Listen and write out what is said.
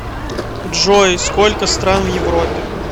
джой сколько стран в европе